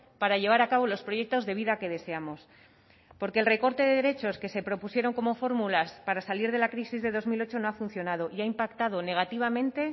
para llevar a cabo los proyectos de vida que deseamos porque el recorte de derechos que se propusieron como fórmulas para salir de la crisis de dos mil ocho no ha funcionado y ha impactado negativamente